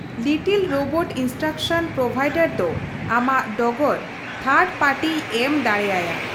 Little robot instruction provider ᱫᱚ ᱟᱢᱟᱜ ᱰᱚᱜᱚᱨ ᱛᱷᱟᱨᱰ ᱯᱟᱨᱴᱤᱭ ᱮᱢ ᱫᱟᱲᱮ ᱟᱭᱟ ᱾